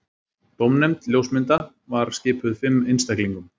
Dómnefnd ljósmynda var skipuð fimm einstaklingum